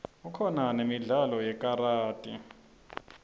kukhona nemidlalo yekaradi